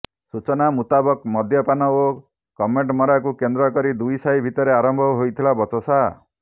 ସୂଚନା ମୁତାବକ ମଦ୍ୟପାନ ଓ କମେଣ୍ଟମରାକୁ କେନ୍ଦ୍ରକରି ଦୁଇସାହି ଭିତରେ ଆରମ୍ଭ ହୋଇଥିଲା ବଚସା